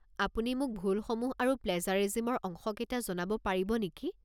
আপুনি মোক ভুলসমূহ আৰু প্লেজাৰিজিমৰ অংশকেইটা জনাব পাৰিব নেকি?